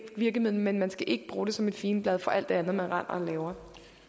virkemiddel men man skal ikke bruge det som et figenblad for alt det andet man render og laver